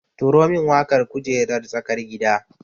Turo min waƙar kujererar tsakar gida